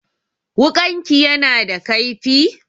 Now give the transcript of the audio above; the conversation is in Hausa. Wuƙanki yana da kaifi?